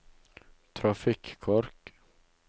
trafikkork